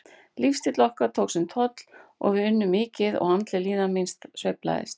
Lífsstíll okkar tók sinn toll, við unnum mikið og andleg líðan mín sveiflaðist.